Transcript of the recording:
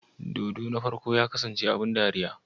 Dodo na farko ya kasance abin dariya?